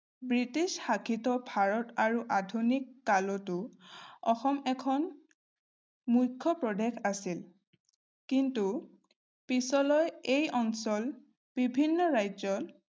British শাসিত ভাৰত আৰু আধুনিককালতো অসম এখন মুখ্য প্ৰদেশ আছিল। কিন্তু, পিছলৈ এই অঞ্চল বিভিন্ন ৰাজ্যত